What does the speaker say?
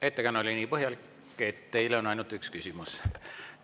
Ettekanne oli nii põhjalik, et teile on ainult üks küsimus.